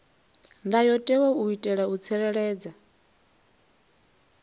ndayotewa u itela u tsireledza